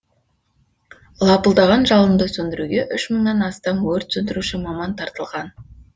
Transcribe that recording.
лапылдаған жалынды сөндіруге үш мыңнан астам өрт сөндіруші маман тартылған